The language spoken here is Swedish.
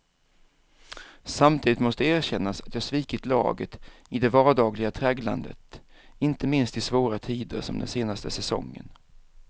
Samtidigt måste erkännas att jag svikit laget i det vardagliga tragglandet, inte minst i svåra tider som den senaste säsongen.